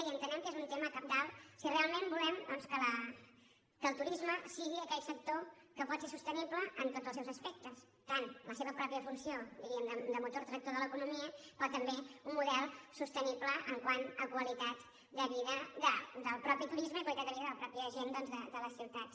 i entenem que és un tema cabdal si realment volem doncs que el turisme sigui aquell sector que pot ser sostenible en tots els seus aspectes tant en la seva pròpia funció diríem de motor tractor de l’economia com també un model sostenible quant a qualitat de vi·da del mateix turisme i qualitat de vida de la mateixa gent de les ciutats